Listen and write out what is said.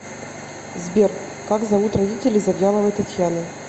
сбер как зовут родителей завьяловой татьяны